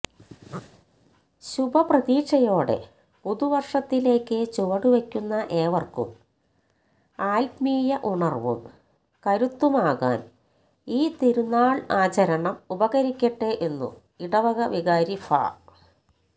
ശുഭപ്രതീക്ഷയോടെ പുതുവര്ഷത്തിലേക്ക് ചുവടുവയ്ക്കുന്ന ഏവര്ക്കും ആത്മീയ ഉണര്വ്വും കരുത്തുമാകാന് ഈ തിരുനാള് ആചരണം ഉപകരിക്കട്ടെ എന്നു ഇടവക വികാരി ഫാ